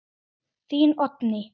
Þín, Oddný.